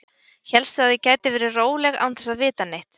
Hélstu að ég gæti verið róleg án þess að vita neitt?